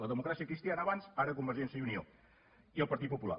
la democràcia cristiana abans ara convergència i unió i el partit popular